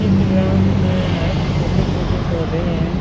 इस ग्राउन्ड मे छोटे-छोटे पौधे हैं।